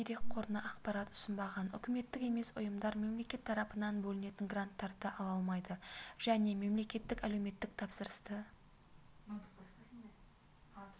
дерек қорына ақпарат ұсынбаған үкіметтік емес ұйымдар мемлекет тарапынан бөлінетін гранттарды ала алмайды және мемлекеттік әлеуметтік тапсырысты